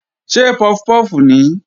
Ṣé puff puff nìí?